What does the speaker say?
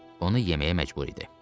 onu yeməyə məcbur idi.